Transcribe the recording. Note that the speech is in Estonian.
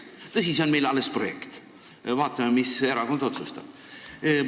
Tõsi, see on meil alles projekt, vaatame, mis erakond otsustab.